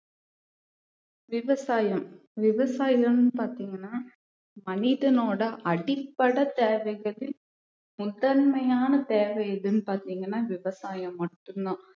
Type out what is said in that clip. விவசாயம் விவசாயம்னு பார்த்தீங்கன்னா மனிதனோட அடிப்படைத் தேவைகள் முதன்மையான தேவை எதுன்னு பார்த்தீங்கன்னா விவசாயம் மட்டும்தான்